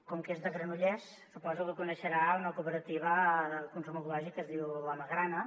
com que és de granollers suposo que deu conèixer una cooperativa de consum ecològic que es diu la magrana